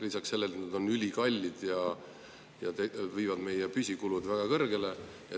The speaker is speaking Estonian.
Lisaks sellele, et need on ülikallid, viivad need meie püsikulud väga kõrgele.